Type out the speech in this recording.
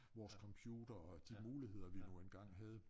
Vores computere og de muligheder vi nu engang havde